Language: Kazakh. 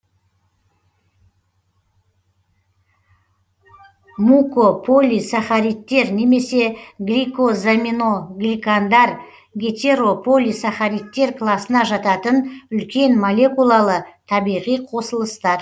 мукополисахаридтер немесе гликозаминогликандар гетерополисахаридтер класына жататын үлкен молекулалы табиғи қосылыстар